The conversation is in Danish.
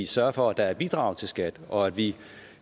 sørger for at der er bidrag til skat og at vi